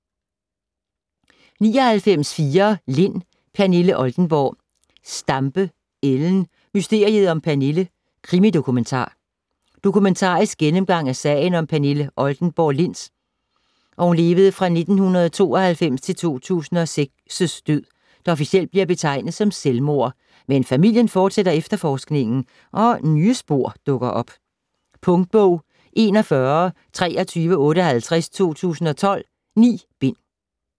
99.4 Lind, Pernille Oldenborg Stampe, Ellen: Mysteriet om Pernille: krimi-dokumentar Dokumentarisk gennemgang af sagen om Pernille Oldenborg Linds (1992-2006) død, der officielt bliver betegnet som selvmord. Men familien fortsætter efterforskningen og nye spor dukker op. Punktbog 412358 2012. 9 bind.